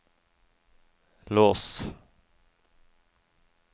lås